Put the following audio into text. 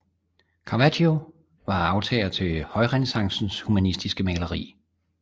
Caravaggio er arvtager til højrenæssancens humanistiske maleri